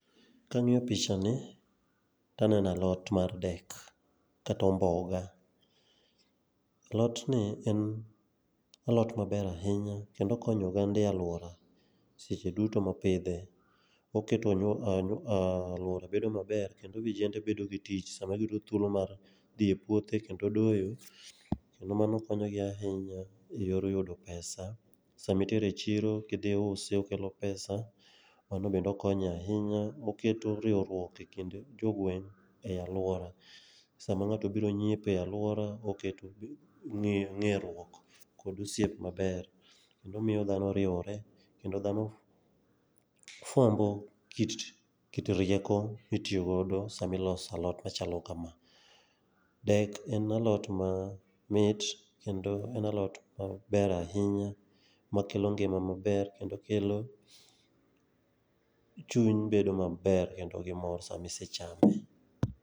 Kang'iyo picha ni taneno alot mar dek kata omboga. Alotni en alot maber ahinya kendo okonyo oganda e alwora seche duto mopidhe. Oketo alwora bedo maber kendo vijende bedo gi tich, sama giyudo thuolo mar dhi e puothe kendo doyo, kendo mano konyogi ahinya e yor yudo pesa. Samitere e chiro kidhi iuse, okelo pesa, mano bende okonyo ahinya. Oketo riwruok e kind jogweng' e alwora. Sama ng'ato obiro nyiepo e alwora oketo ng'eruok kod osiep maber kendo miyo dhano riwore, kendo dhano fwambo kit rieko mitiyo godo samiloso alot machalo kama. Dek en alot mamit kendo en alot maber ahinya makelo ngima maber ahinya kendo kelo chuny bedo maber kendo gi mor sami se chame.